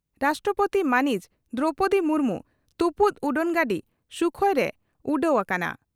ᱨᱟᱥᱴᱨᱚᱯᱳᱛᱤ ᱢᱟᱹᱱᱤᱡ ᱫᱨᱚᱣᱯᱚᱫᱤ ᱢᱩᱨᱢᱩ ᱛᱩᱯᱩᱫ ᱩᱰᱟᱹᱱᱜᱟᱹᱰᱤ ᱥᱩᱠᱷᱚᱭᱨᱮ ᱩᱰᱟᱹᱣ ᱟᱠᱟᱱᱟ